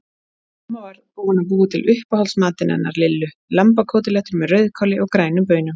Mamma var búin að búa til uppáhaldsmatinn hennar Lillu, lambakótelettur með rauðkáli og grænum baunum.